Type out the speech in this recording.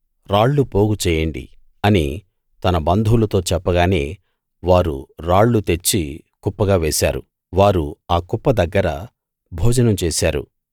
రాళ్ళు పోగుచేయండి అని తన బంధువులతో చెప్పగానే వారు రాళ్ళు తెచ్చి కుప్పగా వేశారు వారు ఆ కుప్ప దగ్గర భోజనం చేశారు